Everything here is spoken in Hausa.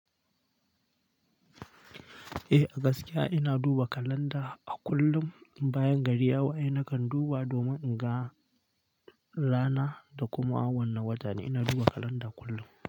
Eh a gaskiya ina duba kalanda a kullum bayan gari ya waye nakan duba domin in ga rana da kuma wani wata ina duba kalanda kullum.